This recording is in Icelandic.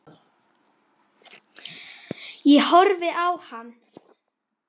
Ég horfði á hana.